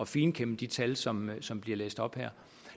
finkæmme de tal som som bliver læst op her